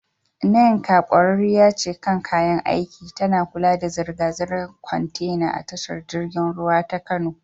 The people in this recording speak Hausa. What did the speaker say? Nneka, ƙwararriya kan kayan aiki, tana kula da zirga-zirgar kwantena a tashar jirgin ruwa ta Kano.